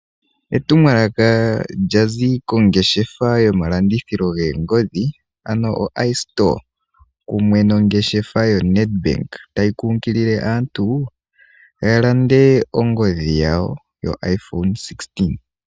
Etumwalaka lya zi kongeshefa yomalandithilo goongodhi ano oiStore kumwe nongeshefa yo NedBank, tayi kunkilile aantu ya lande ongodhi yawo yo iPhone 16.